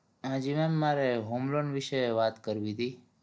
હાજી ma'am મારે homeloan વિશે વાત કરવીતી